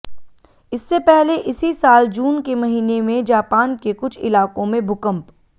इससे पहले इसी साल जून के महीने में जापान के कुछ इलाकों में भूकंप